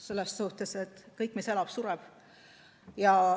Selles mõttes, et kõik, mis elab, see sureb.